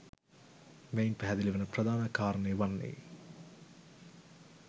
මෙයින් පැහැදිලි වන ප්‍රධාන කාරණය වන්නේ